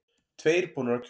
Tveir búnir að kjósa